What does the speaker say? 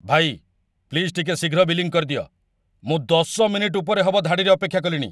ଭାଇ, ପ୍ଲିଜ୍‌ ଟିକେ ଶୀଘ୍ର ବିଲିଂ କରିଦିଅ! ମୁଁ ୧୦ ମିନିଟ୍ ଉପରେ ହବ ଧାଡ଼ିରେ ଅପେକ୍ଷା କଲିଣି ।